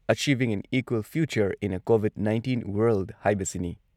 Achieving an equal future in a COVID nineteen world ꯍꯥꯏꯕꯁꯤꯅꯤ ꯫